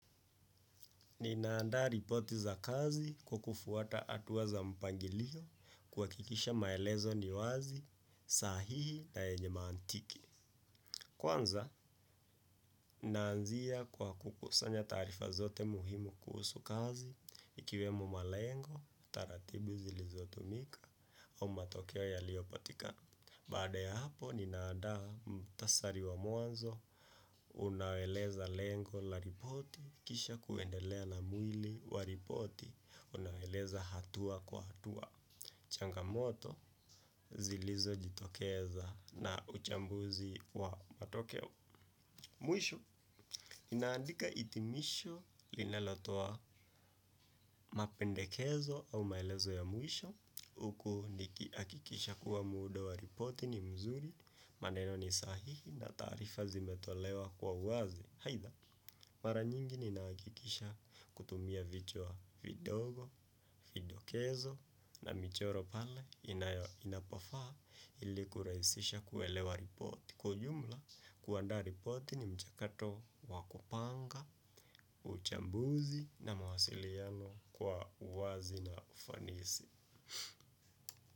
Ninaandaa ripoti za kazi kwa kufuata hatua za mpangilio, kuhakikisha maelezo ni wazi, sahihi na yenye mantiki. Kwanza, naanzia kwa kukusanya taarifa zote muhimu kuhusu kazi ikiwemo malengo, taratibu zilizotumika au matokeo yaliyopatikana. Baada ya hapo ninaandaa muhtasari wa mwanzo, unaeleza lengo la ripoti kisha kuendelea na mwili wa ripoti unaoeleza hatua kwa hatua changamoto zilizojitokeza na uchambuzi wa matokeo. Mwisho naandika hitimisho linalotoa mapendekezo au maelezo ya mwisho huku nikihakikisha kuwa muundo wa ripoti ni mzuri. Maneno ni sahihi na taarifa zimetolewa kwa uwazi. Aidha, mara nyingi ninahakikisha kutumia vichwa vidogo, vidokezo na michoro pale inapofaa ili kurahisisha kuelewa ripoti. Kwa ujumla, kuandaa ripoti ni mchakato wa kupanga uchambuzi na mawasiliano kwa uwazi na ufanisi.